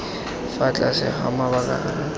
fa tlase ga mabaka a